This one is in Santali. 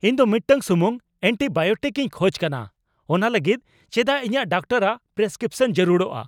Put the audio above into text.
ᱤᱧ ᱫᱚ ᱢᱤᱫᱴᱟᱝ ᱥᱩᱢᱩᱝ ᱮᱱᱴᱤᱵᱟᱭᱚᱴᱤᱠᱼᱤᱧ ᱠᱷᱚᱪ ᱠᱟᱱᱟ ! ᱚᱱᱟ ᱞᱟᱹᱜᱤᱫ ᱪᱮᱫᱟᱜ ᱤᱧᱟᱜ ᱰᱟᱠᱴᱚᱨᱟᱜ ᱯᱨᱮᱥᱠᱨᱤᱯᱥᱚᱱ ᱡᱟᱹᱨᱩᱲᱚᱜᱼᱟ ᱾